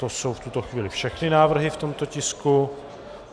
To jsou v tuto chvíli všechny návrhy v tomto tisku.